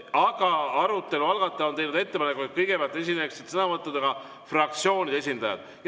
Aga arutelu algataja on teinud ettepaneku, et kõigepealt esineksid sõnavõtuga fraktsioonide esindajad.